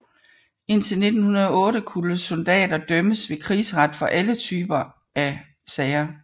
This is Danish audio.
Indtil 1908 kunne soldater dømmes ved krigsret for alle typer af sager